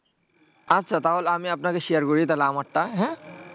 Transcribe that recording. আচ্ছা তাহলে আমি আপনাকে share করে দিয়েছি তাহলে আমারটা হম